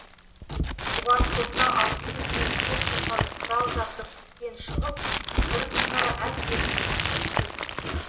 бұған қоса алты жүздей техникалық құрал жабдық істен шығып бірқатары әбден тозып біткен